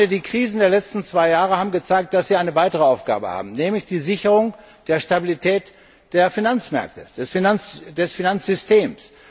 Die Krisen der letzten zwei Jahre haben gezeigt, dass Sie eine weitere Aufgabe haben, nämlich die Sicherung der Stabilität der Finanzmärkte und des Finanzsystems.